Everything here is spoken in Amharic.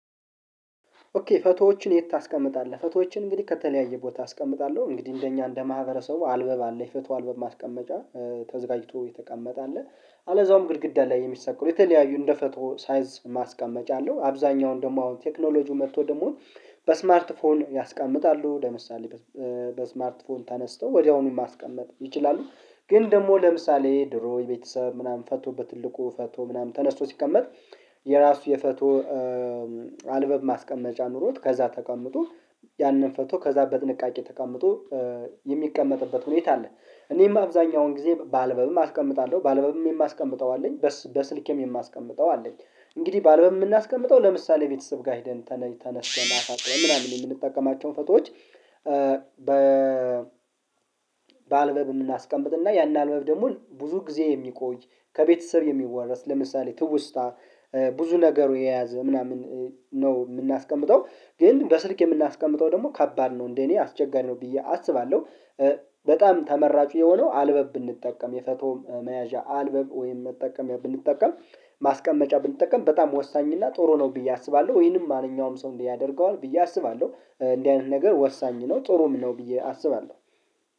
ኦኬ ፈቶዎችን የት ታስቀምጣለህ? ፈቶዎችን እንግዲህ ከተለያየ ቦታ አስቀምጣለሁ እንግዲህ እንደኛ እንደ ማህበረሰቡ አልበብ አለ ፍትው አልበብ ማስቀመጫ ተዘጋጅቶ የተቀመጠ አለ። አለዛውም ግድግዳ ላይ የሚሰቀለው የተለያዩ እንደ ፈቶ ሳይዝ ማስቀመጫ አለው። አብዛኛውን ደግሞ አሁን ቴክኖሎጂው መጥቶ ደግሞ በ ስማርት ፎን ያስቀምጣሉ ለምሳሌ በስማርት ፎን ተነስተው ወዲያውኑ ማስቀመጥ ይችላሉ። ግን ደግሞ ለምሳሌ ድሮ የቤተሰብ ምናምን ፈቶ በትልቁ ፈቶ ምናምን ተነስቶ ሲቀመጥ የራሱ የፈቶ አልበብ ማስቀመጫ ኖሮት ከዛ ተቀምጦ ያንን ፈቶ ከዛ በጥንቃቄ ተቀምጦ የሚቀመጥበት ሁኔታ አለ። እኔም አብዛኛውን ጊዜ በአልበብም አስቀምጣለሁ በአልበብም የማስቀምጠው አለኝ በስልኬም የማስቀምጠው አለኝ። እንግዲህ በአልበም የምናስቀምጠው ለምሳሌ ቤተሰብ ጋር ሄደን ተነስተን አሳጥነን ምናምን የምንጠቀማቸውን ፎቶዎች። በአልበብ የምናስቀምጥና ያን አልበብ ደግሞ ብዙ ጊዜ የሚቆይ ከቤተሰብ የሚወረስ ለምሳሌ ትውስታ ብዙ ነገሩ የያዘ ምናምን ነው የምናስቀምጠው ግን በስልክ የምናስቀምጠው ደግሞ ከባድ ነው እንዴ እኔ አስቸጋሪ ነው ብዬ አስባለሁ። በጣም ተመራጩ የሆነው አልበብ ብንጠቀም የፈቶ መያዣ አልበብ ወይም መጠቀም ብንጠቀም ማስቀመጫ ብንጠቀም በጣም ወሳኝ እና ጥሩ ነው ብዬ አስባለሁ ወይንም ማንኛውም ሰው እንዲህ ያደርገዋል ብዬ አስባለሁ እንደዚህ አይነት ነገር ወሳኝ ነው ጥሩም ነው ብዬ አስባለሁ